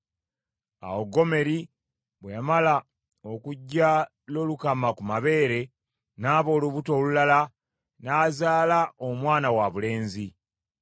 Awo Gomeri bwe yamala okuggya Lolukama ku mabeere, n’aba olubuto olulala n’azaala omwana wabulenzi.